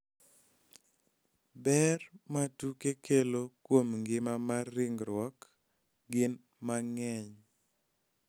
Ber ma tuke kelo kuom ngima mar ringruok gin mang�eny .